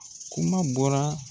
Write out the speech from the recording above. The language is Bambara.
Kuma bɔra.